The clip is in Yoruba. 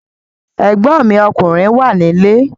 Ẹ̀gbọ́n mi ọkùnrin wà nílé